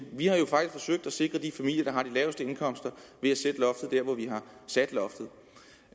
vi har jo faktisk forsøgt at sikre de familier der har de laveste indkomster ved at sætte loftet